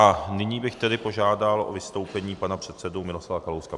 A nyní bych tedy požádal o vystoupení pana předsedu Miroslava Kalouska.